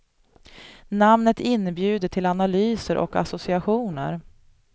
Namnet inbjuder till analyser och associationer.